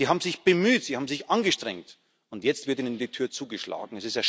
Sie haben sich bemüht, sie haben sich angestrengt, und jetzt wird ihnen die Tür zugeschlagen.